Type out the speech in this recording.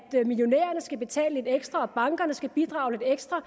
millionærerne skal betale lidt ekstra og at bankerne skal bidrage lidt ekstra